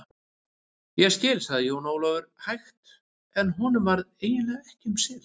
Ég skil, sagði Jón Ólafur hægt en honum varð eiginlega ekki um sel.